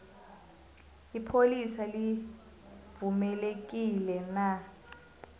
ipholisa livumelekile na